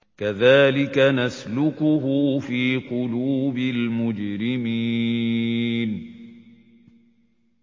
كَذَٰلِكَ نَسْلُكُهُ فِي قُلُوبِ الْمُجْرِمِينَ